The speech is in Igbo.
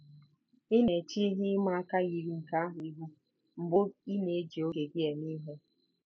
Ị na-eche ihe ịma aka yiri nke ahụ ihu mgbe ị na-eji oge gị eme ihe.